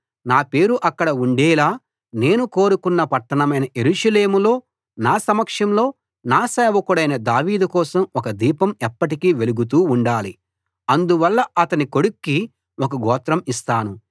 నా పేరు అక్కడ ఉండేలా నేను కోరుకున్న పట్టణమైన యెరూషలేములో నా సమక్షంలో నా సేవకుడైన దావీదు కోసం ఒక దీపం ఎప్పటికీ వెలుగుతూ ఉండాలి అందువల్ల అతని కొడుక్కి ఒక గోత్రం ఇస్తాను